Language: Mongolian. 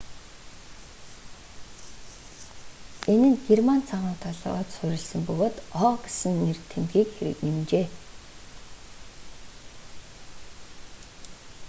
энэ нь герман цагаан толгойд суурилсан бөгөөд õ/õ гэсэн нэг тэмдэгтийг нэмжээ